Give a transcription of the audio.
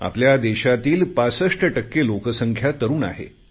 आपल्या देशाची 65 टक्के लोकसंख्या तरुण आहे